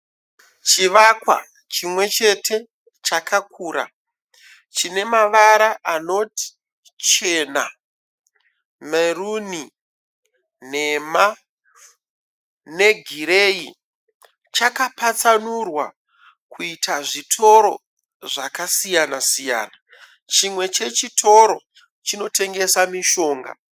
Chivakwa chimwechete chakakura chine mavara anoti chena, meruni, nhema negireyi. Chakapatsanurwa kuita zvitoro zvakasiyana siyana. Chimwe chechitoro chinotengesa mishonga.